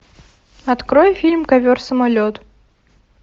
открой фильм ковер самолет